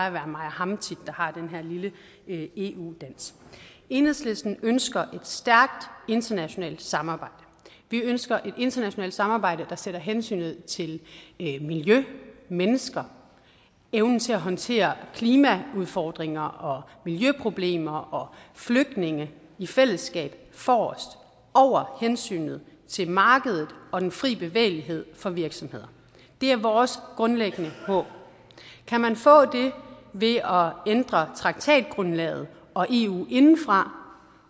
at være mig og ham der har den her lille eu dans enhedslisten ønsker et stærkt internationalt samarbejde vi ønsker et internationalt samarbejde der sætter hensynet til miljø mennesker evnen til at håndtere klimaudfordringer og miljøproblemer og flygtninge i fællesskab forrest og over hensynet til markedet og den frie bevægelighed for virksomheder det er vores grundlæggende håb kan man få det ved at ændre traktatgrundlaget og eu indefra